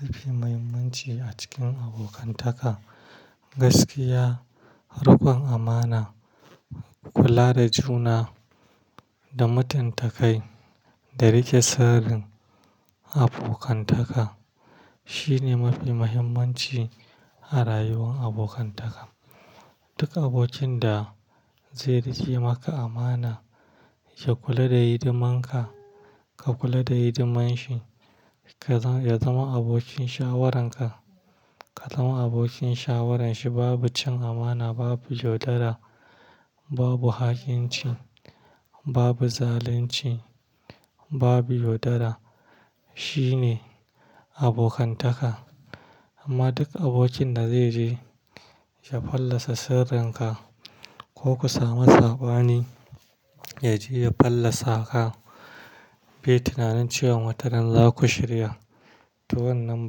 Mafi muhimmanci a cikin abokantaka, gaskiya, riƙon amana, kula da juna da mutuntakai da riƙe sirrin abokantaka shine mafi muhimmanci a rayuwar abokantaka. Duk abokin da zai riƙe maka amana, ya kula da hidiman ka, ka kula da hidiman shi, ya zama abokin shawaran ka, ka zama abokin shawaran shi, babu cin amana, babu yaudara, babu ha'inci, babu zalunci, babu yaudara. Shi ne abokantaka. Amma duk abokin da zai je ya fallasa sirrinka ko ku sami sabani ya je ya fallasa ka, bai tunanin cewa matarar za ku shirya, to wannan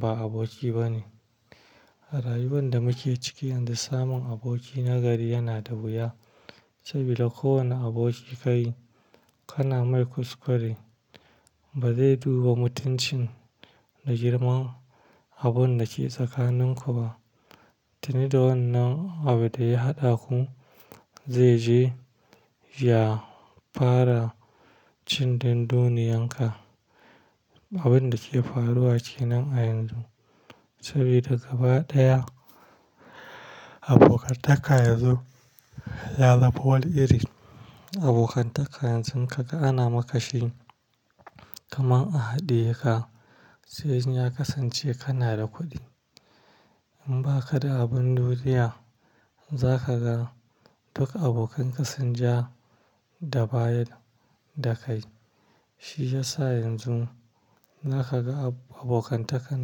ba aboki ba ne. A rayuwar da muke ciki yanzu, samun aboki nagari yana da wuya. Saboda kowane aboki kayi, kana mai kuskure, ba zai duba mutuncin da girman abun da ke tsakaninku ba. Tuni da wannan abu da ya haɗa ku zai je ya fara cin dunduniyanka. Abun da ke faruwa ke nan a yanzu. Saboda gaba ɗaya abokantaka yanzu ya zama wani iri. Abokantaka yanzu in ka ga ana maka shi kamar a haɗiye ka, sai in ya kasance kana da kuɗi. In ba ka da abin duniya, za ka ga duk abokanka sun ja da baya da kai. Shi ya sa yanzu za ka ga abokantakan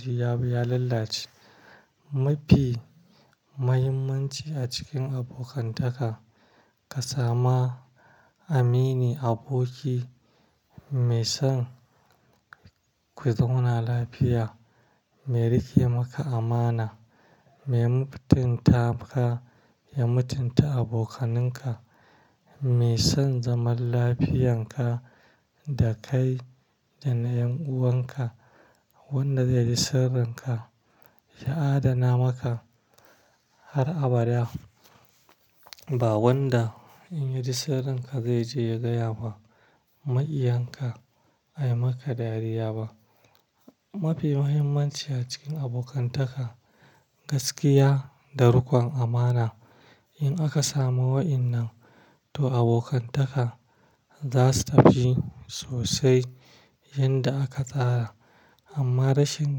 jiya ya lalace. Mafi muhimmanci a cikin abokantaka, ka samu aminin aboki mai son ku zauna lafiya, mai riƙe maka amana, mai mutunta ka, ya mutunta abokaninka, mai son zaman lafiyanka da kai da na ƴan'uwanka, wadda zai riƙe sirrinka, ya adana maka har abada, ba wadda in ya ji sirrinka zai je ya gaya wa maikiyanka, a yi maka dariya ba. Mafi muhimmanci a cikin abokantaka, gaskiya da riƙon amana. In aka samu wa'innan, to abokantaka za su tafi sosai yadda aka tsara. Amma rashin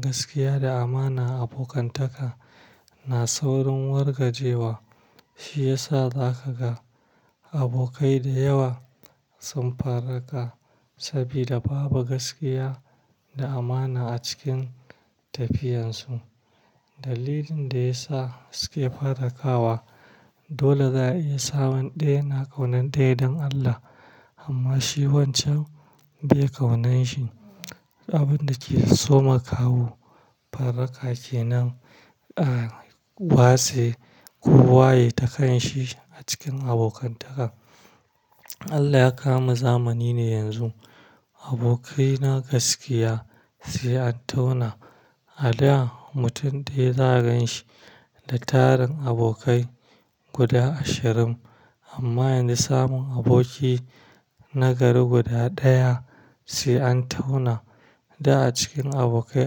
gaskiya da amana a abokantaka na saurin wargajewa. Shi ya sa za ka ga abokai da yawa sun faraka saboda babu gaskiya da amana a cikin tafiyarsu. Dalilin da ya sa suke fara kawa dole za a iya sa wani ɗaya na ƙaunar ɗaya don Allah, amma shi wancan ba ya ƙaunan shi. Abun da ke soma kawo fara ka ke nan a watse ko waye takan shi a cikin abokantaka. Allah ya kamo zamani ne yanzu. Abokaina gaskiya sai an tauna. A da mutum ɗaya za ka gan shi da tarin abokai guda ashirin. Amma yanzu samun aboki nagari guda ɗaya sai an tauna. Da a cikin abokai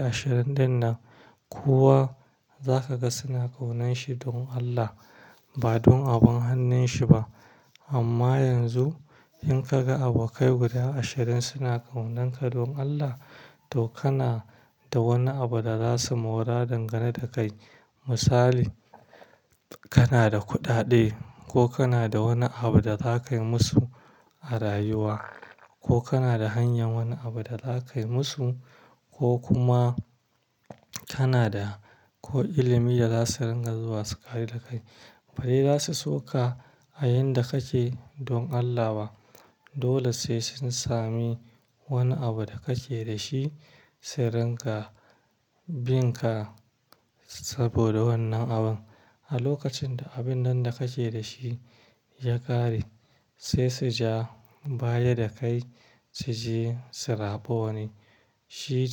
ashirin ɗin nan kowa za ka ga suna ƙaunan shi don Allah, ba don abin hannun shi ba. Amma yanzu in ka ga abokai guda ashirin suna ƙaunan ka don Allah, to kana da wani abu da za su maura dangane da kai. Misali, kana da kuɗaɗe ko kana da wani abu da za ka yi musu a rayuwa, ko kana da hanyar wani abu da za ka yi musu, ko kuma kana da ko ilimi da za su ringa zuwa su ƙari da kai. Bari za su so ka a inda kake don Allah ba. Dole sai sun sami wani abu da kake da shi, sai ringa bin ka saboda wannan abun. A lokacin da abun nan da kake da shi ya ƙare, sai su ja baya da kai su je su zaba wani. Shi.